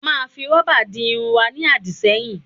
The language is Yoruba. A máa fi rọ́bà di irun wa ní àdìṣẹ́yìn